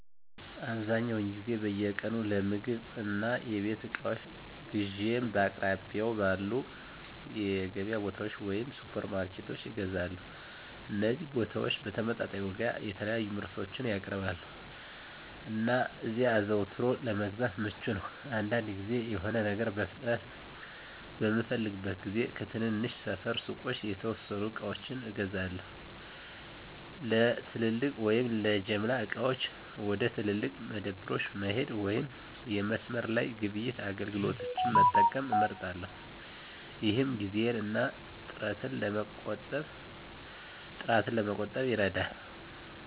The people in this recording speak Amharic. አብዛኛውን ጊዜ በየቀኑ ለምግብ እና የቤት እቃዎች ግዢዬን በአቅራቢያው ባሉ የገበያ ቦታዎች ወይም ሱፐርማርኬቶች እገዛለሁ። እነዚህ ቦታዎች በተመጣጣኝ ዋጋ የተለያዩ ምርቶችን ያቀርባሉ, እና እዚያ አዘውትሮ ለመግዛት ምቹ ነው. አንዳንድ ጊዜ፣ የሆነ ነገር በፍጥነት በምፈልግበት ጊዜ ከትናንሽ ሰፈር ሱቆች የተወሰኑ ዕቃዎችን እገዛለሁ። ለትልቅ ወይም ለጅምላ ዕቃዎች፣ ወደ ትላልቅ መደብሮች መሄድ ወይም የመስመር ላይ ግብይት አገልግሎቶችን መጠቀም እመርጣለሁ፣ ይህም ጊዜን እና ጥረትን ለመቆጠብ ይረዳል።